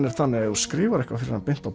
er þannig að ef þú skrifar eitthvað beint á